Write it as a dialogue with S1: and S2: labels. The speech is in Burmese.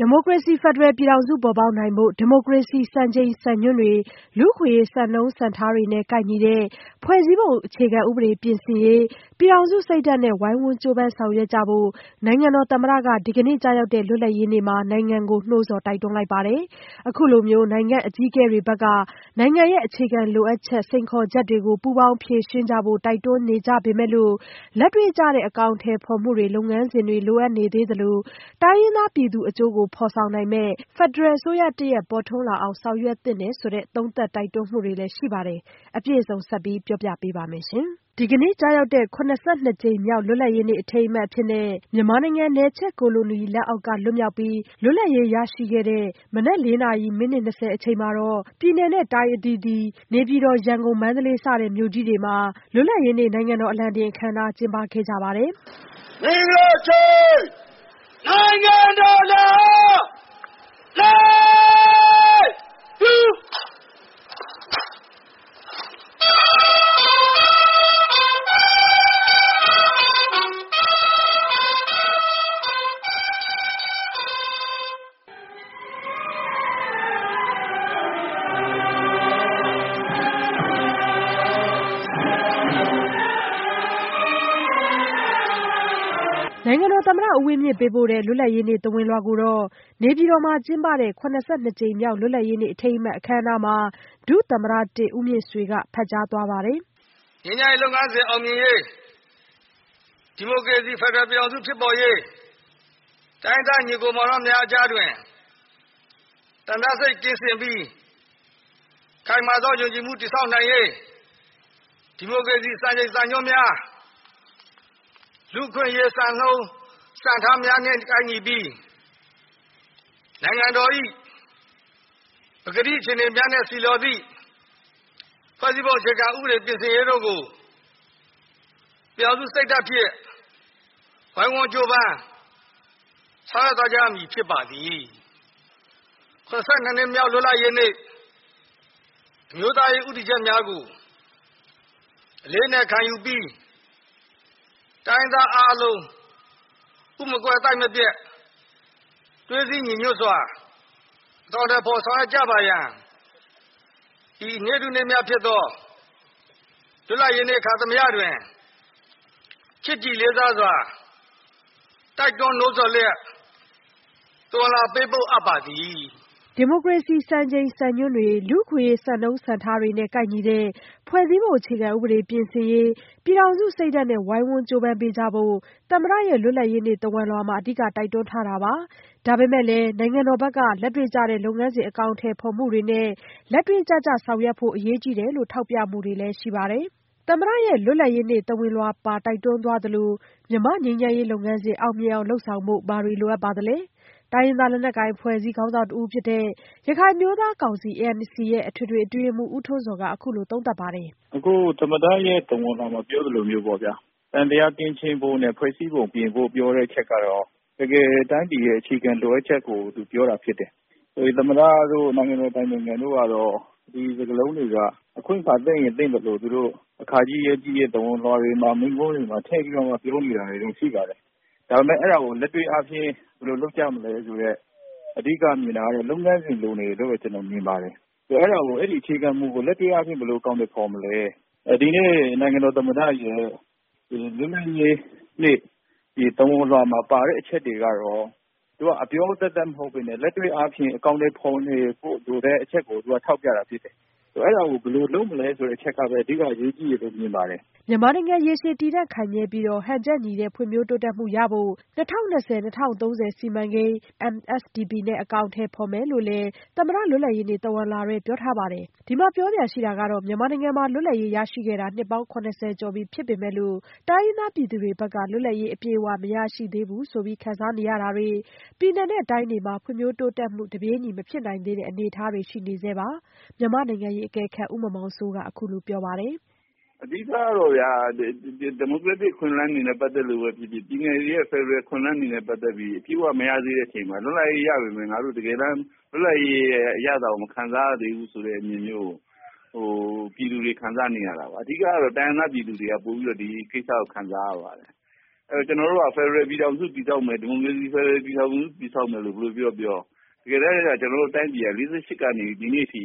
S1: ဒီမိုကရေစီ ဖက်ဒရယ်ပြည်ထောင်စု ပေါ်ပေါက်နိုင်ဖို့ ဒီမိုကရေစီ စံချိန်စံညွှန်းတွေ လူ့အခွင့်အရေး စံနှုန်းစံထားတွေနဲ့ ကိုက်ညီတဲ့ ဖွဲ့စည်းပုံအခြေခံဥပဒေ ပြင်ဆင်ရေး ပြည်ထောင်စုစိတ်ဓာတ်နဲ့ ဝိုင်းဝန်းကြိုးပမ်း ဆောင်ရွက်ကြဖို့ နိုင်ငံတော်သမ္မတက ဒီကနေ့ကျရောက်တဲ့ လွတ်လပ်ရေးနေ့မှာ နိုင်ငံကို နှိုးဆော် တိုက်တွန်းလိုက်ပါတယ်။ အခုလို နိုင်ငံ့အကြီးအကဲတွေဘက်က နိုင်ငံရဲ့ အခြေခံလိုအပ်ချက် စိန်ခေါ်ချက်တွေ ပူးပေါင်းဖြေရှင်းကြဖို့ တိုက်တွန်းနေကြပေမယ့်လို့ လက်တွေ့ကျတဲ့ အကောင်အထည်ဖော်မှုတွေ လုပ်ငန်းစဉ်တွေ လိုအပ်နေသေးသလို တိုင်းရင်းသားပြည်သူအကျိုးကို ဖော်ဆောင်နိုင်မယ့် ဖက်ဒရယ်အစိုးရတရပ် ပေါ်ထွန်းလာအောင် ဆောင်ရွက်သင့်တယ်လို့လည်း သုံးသပ်တိုက်တွန်းမှုတွေ ရှိပါတယ်။ အပြည့်အစုံကို မဆုမွန်က စုစည်းတင်ပြထားပါတယ်။ ဒီကနေ့ကျရောက်တဲ့ ၇၂ ကြိမ်မြောက် လွတ်လပ်ရေးနေ့ အထိမ်းအမှတ်အဖြစ် မြန်မာနိုင်ငံ နယ်ချဲ့ကိုလိုနီလက်အောက်က လွတ်မြောက်ပြီး လွတ်လပ်ရေးရရှိခဲ့တဲ့ မနက် ၄ နာရီ မိနစ် ၂၀ အချိန်မှာ ပြည်နယ်၊ တိုင်း အသီးသီး၊ နေပြည်တော်၊ ရန်ကုန်-မန္တလေး စတဲ့ မြို့ကြီးတွေမှာ လွတ်လပ်ရေးနေ့ နိုင်ငံတော် အလံတင်အခမ်းအနားကို ကျင်းပခဲ့ကြပါတယ်။ နိုင်ငံတော်သမ္မတ ဦးဝင်းမြင့် ပေးပို့တဲ့ လွတ်လပ်ရေးနေ့ သဝဏ်လွှာကိုတော့ နေပြည်တော်မှာ ကျင်းပတဲ့ ၇၂ ကြိမ်မြောက် လွတ်လပ်ရေးနေ့ အထိမ်းအမှတ် အခမ်းအနားမှာ ဒုသမ္မတ-၁ ဦးမြင့်ဆွေက ဖတ်ကြားသွားပါတယ်။
S2: “မြန်မာ့ငြိမ်းချမ်းရေး လုပ်ငန်းစဉ် အောင်မြင်ရေး၊ ဒီမိုကရေစီ ဖက်ဒရယ်ပြည်ထောင်စု ဖြစ်ပေါ်ရေး၊ တိုင်းရင်းသား ညီအစ်ကိုမောင်နှမများအကြား သံသယစိတ် ကင်းစင်ပြီး ခိုင်မာသောယုံကြည်မှု တည်ဆောက်နိုင်ရေး ဒီမိုကရေစီ စံချိန်စံညွှန်းများ လူ့အခွင့်အရေး စံနှုန်းစံထားများနဲ့ ကိုက်ညီပြီး နိုင်ငံတော်၏ ပကတိ အခြေအနေများနှင့် ဆီလျော်သည့် ဖွဲ့စည်းပုံအခြေခံဥပဒေ ပြင်ဆင်ရေးတို့ကို ပြည်ထောင်စုစိတ်ဓာတ်ဖြင့် ဝိုင်းဝန်းကြိုးပမ်း ဆောင်ရွက်သွားကြရမည် ဖြစ်ပါသည်။ ၇၂ နှစ်မြောက် လွတ်လပ်ရေးနေ့ အမျိုးသားရေး ဦးတည်ချက်များကို အလေးအနက် ခံယူပြီး တိုင်းရင်းသားအားလုံး ဥမကွဲ သိုက်မပျက် သွေးစည်းညီညွတ်စွာ အကောင်အထည်ဖော် ဆောင်ရွက်ကြပါရန် ဤနေ့ထူးနေ့မြတ်ဖြစ်သော လွတ်လပ်ရေးနေ့ အခါသမယတွင် ချစ်ကြည်လေးစားစွာ တိုက်တွန်းနှိုးဆော်လျက် သဝဏ်လွှာ ပေးပို့အပ်ပါသည်။”
S1: လူ့အခွင့်အရေး စံနှုန်းစံထားတွေနဲ့ ကိုက်ညီတဲ့ ဖွဲ့စည်းပုံအခြေခံဥပဒေ ပြင်ဆင်ရေး ပြည်ထောင်စုစိတ်ဓာတ်နဲ့ ဝိုင်းဝန်းကြိုးပမ်းပေးကြဖို့ သမ္မတရဲ့ လွတ်လပ်ရေးနေ့ သဝဏ်လွှာမှာ အဓိက တိုက်တွန်းထားတာပါ။ ဒါပေမယ့် နိုင်ငံတော်ဘက်က လက်တွေ့ကျတဲ့ လုပ်ငန်းစဉ် အကောင်အထည်ဖော်မှုတွေနဲ့ လက်တွေ့ကျကျ ဆောင်ရွက်ဖို့ အရေးကြီးတယ်လို့ ထောက်ပြမှုတွေလည်း ရှိပါတယ်။ သမ္မတရဲ့ လွတ်လပ်ရေးနေ့ သဝဏ်လွှာပါ တိုက်တွန်းသွားသလို မြန်မာ့ငြိမ်းချမ်းရေးလုပ်ငန်းစဉ် အောင်မြင်အောင် လုပ်ဆောင်ဖို့ ဘာတွေလိုအပ်ပါသလဲ။ တိုင်းရင်းသား လက်နက်ကိုင်အဖွဲ့အစည်း ခေါင်းဆောင်တဦးဖြစ်တဲ့ ရခိုင်အမျိုးသားကောင်စီ ရဲ့ အထွေထွေအတွင်းရေးမှူး ဦးထွန်းဇော်က အခုလိုသုံးသပ်ပါတယ်
S3: ။ “အခု သမ္မတရဲ့ သဝဏ်လွှာမှာ ပြောသလိုမျိုးပေါ့ဗျာ သံသယကင်းရှင်းဖို့နဲ့ ဖွဲ့စည်းပုံ ပြင်ဖို့ ပြောတဲ့အချက်ကတော့ တကယ် တိုင်းပြည်ရဲ့ အခြေခံလိုအပ်ချက်ကို သူပြောတာဖြစ်တယ်။ သမ္မတတို့ နိုင်ငံတော်အတိုင်ပင်ခံတို့ကတော့ ဒီစကားလုံးတွေက အခွင့်အခါ သင့်ရင်သင့်သလို သူတို့ အခါကြီး ရက်ကြီး သဝဏ်လွှာတွေမှာ မိန့်ခွန်းတွေမှာ ထည့်ပြီး ပြောနေတာတော့ ရှိပါတယ်။ ဒါပေမယ့် အဲဒါကို လက်တွေ့အားဖြင့် ဘယ်လိုလုပ်ကြမလဲဆိုတဲ့ အဓိကမြင်တာတော့ လုပ်ငန်းစဉ် လိုနေတယ်လို့ ကျနော်မြင်ပါတယ်။ အဲဒီ အခြေခံမူကို လက်တွေ့အားဖြင့် ဘယ်လို အကောင်အထည် ဖော်မလဲ။ ဒီနေ့ နိုင်ငံတော်သမ္မတရဲ့ လွတ်လပ်ရေးနေ့ သဝဏ်လွှာမှာပါတဲ့ အချက်တွေကတော့ အပြောသက်သက် မဟုတ်ဘဲနဲ့ လက်တွေ့အားဖြင့် အကောင်အထည် ဖော်နေဖို့ လိုတဲ့အချက်ကို သူက ထောက်ပြတာဖြစ်တယ်။ အဲဒါကို ဘယ်လိုလုပ်မလဲ ဆိုတဲ့ အချက်ကပဲ အဓိက အရေးကြီးတယ်လို့ မြင်ပါတယ်။
S1: ” မြန်မာနိုင်ငံ ရေရှည်တည်တံ့ခိုင်မြဲပြီး ဟန်ချက်ညီတဲ့ ဖွံ့ဖြိုးတိုးတက်မှုရဖို့ ၂၀၂၀-၂၀၃၀ စီမံကိန်း (Myanmar Sustainable Development Plan MSDP) နဲ့ အကောင်အထည် ဖော်မယ်လို့လည်း သမ္မတ လွတ်လပ်ရေးနေ့ သဝဏ်လွှာထဲမှာ ပြောထားပါတယ်။ ဒီမှာ ပြောစရာရှိတာက မြန်မာနိုင်ငံမှာ လွတ်လပ်ရေးရရှိခဲ့တာ နှစ်ပေါင်း ၇၀ ကျော်ပြီ ဖြစ်ပေမယ့်လို့ တိုင်းရင်းသားပြည်သူတွေဘက်က လွတ်လပ်ရေး အပြည့်အဝ မရရှိသေးဘူးလို့ ခံစားနေရတာတွေ၊ ပြည်နယ် တိုင်းတွေမှာ ဖွံ့ဖြိုးတိုးတက်မှု တပြေးညီ မဖြစ်နိုင်သေးတဲ့ အနေအထားတွေ ရှိနေဆဲပါ။ မြန်မာ့နိုင်ငံရေးအကဲခတ် ဦးမောင်မောင်စိုးက အခုလို ပြောပါတယ်။
S3: “အဓိကတော့ ဒီမိုကရက်တစ် အခွင့်အလမ်းတွေနဲ့ ပတ်သက်လို့ပဲဖြစ်ဖြစ် ပြည်နယ်တွေရဲ့ ဖက်ဒရယ် အခွင့်အလမ်းတွေနဲ့ ပတ်သက်ပြီး အပြည့်အဝ မရသေးတဲ့ အချိန်မှာ လွတ်လပ်ရေး ရပေမယ့် ငါတို့ တကယ်တမ်း လွတ်လပ်ရေးရဲ့ အရသာကို မခံစားရသေးဘူးဆိုတဲ့ အမြင်မျိုးကို ပြည်သူတွေ ခံစားနေရတာပါ။ အဓိကတော့ တိုင်းရင်းသား ပြည်သူတွေက ပိုပြီးတော့ ဒီကိစ္စကို ခံစားရပါတယ်။ ကျနော်တို့က ဖက်ဒရယ်ပြည်ထောင်စု တည်ဆောက်မယ်၊ ဒီမိုကရေစီ ဖက်ဒရယ်ပြည်ထောင်စု တည်ဆောက်မယ်လို့ ဘယ်လိုပြောပြော တကယ်တမ်း ကျနော်တို့တိုင်းပြည်က ၄၈ ကနေ ဒီနေ့အထိ